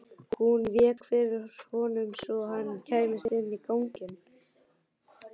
Hún vék fyrir honum svo hann kæmist inn í ganginn.